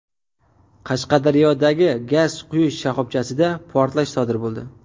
Qashqadaryodagi gaz quyish shoxobchasida portlash sodir bo‘ldi.